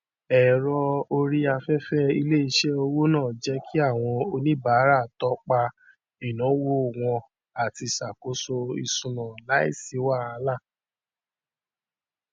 ẹrọ orí afẹfẹ iléiṣẹ owó náà jẹ kí àwọn oníbàárà tọpa ináwó wọn àti ṣàkóso isúná láìsí wahalà